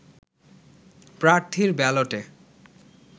প্রার্থীর ব্যালটে